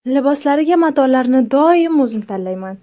Liboslariga matolarni doim o‘zim tanlayman.